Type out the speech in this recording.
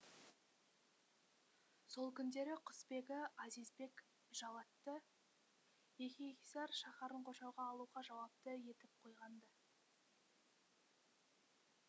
сол күндері құсбегі азизбек жаллатты и еңиһисар шаһарын қоршауға алуға жауапты етіп қойған ды